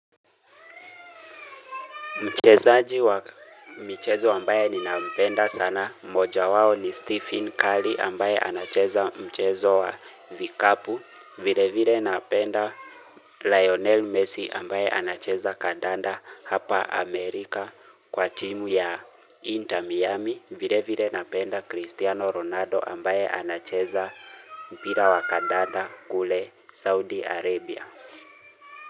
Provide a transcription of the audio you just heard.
Mchezaji wa michezo ambaye ninampenda sana. Moja wao ni Stephen Cully ambaye anacheza mchezo wa Vikapu. Vile vile napenda Lionel Messi ambaye anacheza Kadanda hapa Amerika kwa timu ya Inter Miami. Vile vile napenda Cristiano Ronaldo ambaye anacheza mpira wa Kadanda kule Saudi Arabia.